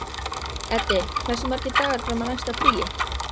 Eddi, hversu margir dagar fram að næsta fríi?